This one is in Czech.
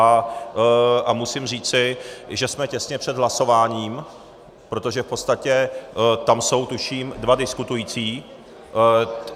A musím říci, že jsme těsně před hlasováním, protože v podstatě tam jsou, tuším, dva diskutující.